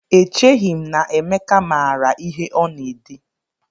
Echeghị m na Emeka maara ihe ọ na-ede